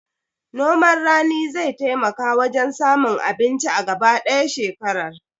Noman rani zai taimaka wajen samun abinci a gaba ɗaya shekarar